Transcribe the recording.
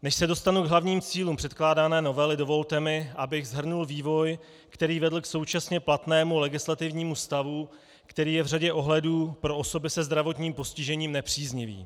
Než se dostanu k hlavním cílům předkládané novely, dovolte mi, abych shrnul vývoj, který vedl k současně platnému legislativnímu stavu, který je v řadě ohledů pro osoby se zdravotním postižením nepříznivý.